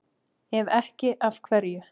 Ef ekki, af hverju?